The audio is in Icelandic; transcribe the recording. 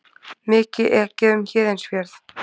Mikið ekið um Héðinsfjörð